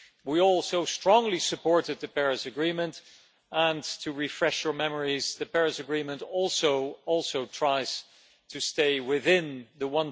We all so strongly supported the Paris Agreement and, to refresh your memories, the Paris Agreement also tries to stay within the